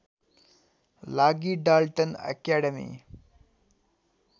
लागि Dalton academy